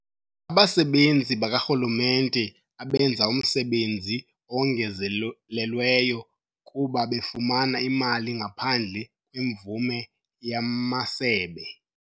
Abasebenzi bakarhulumente abenza umsebenzi owongezelelweyo kuba befumana imali ngaphandle kwemvume yamasebe.